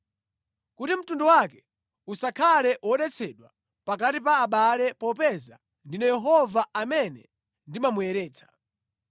kuti mtundu wake usakhale wodetsedwa pakati pa abale popeza ndine Yehova, amene ndimamuyeretsa.’ ”